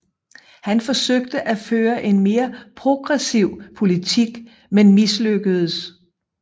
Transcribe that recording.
Han forsøgte at føre en mere progressiv politik men mislykkedes